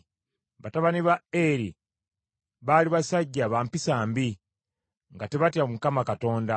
Batabani ba Eri baali basajja ba mpisa mbi, nga tebatya Mukama Katonda.